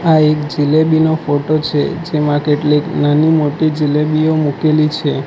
આ એક જલેબી નો ફોટો છે જેમાં કેટલીક નાની મોટી જલેબીઓ મૂકેલી છે.